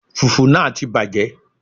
Fùfú náà ti bàjẹ́